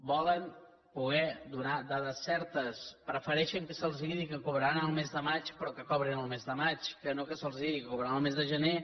volen poder donar dades certes prefereixen que se’ls digui que cobraran el mes de maig però que cobrin el mes de maig que no que se’ls digui que cobraran el mes de gener